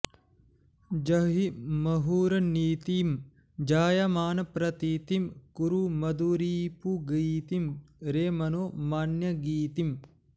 जहिहि मुहुरनीतिं जायमानप्रतीतिं कुरु मधुरिपुगीतिं रे मनो मान्यगीतिम्